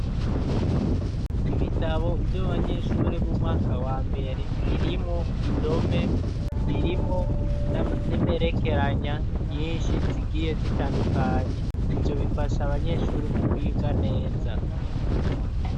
Ibitabo vy'abanyeshuri b'umwaka wa mbere birimwo indome, birimwo n'imperekeranya nyinshi zigiye zitandukanye. Ivyo bifasha abanyeshuri mu kwiga neza.